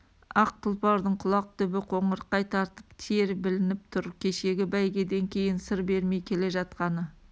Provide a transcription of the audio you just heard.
ақ тұлпардың құлақ түбі қоңырқай тартып тер білініп тұр кешегі бәйгеден кейін сыр бермей келе жатқаны